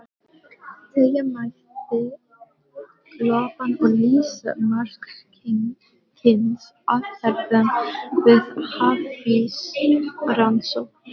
Teygja mætti lopann og lýsa margs kyns aðferðum við hafísrannsóknir.